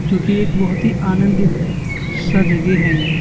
जोकि एक बहुत आनंदित सा जगह है। ये----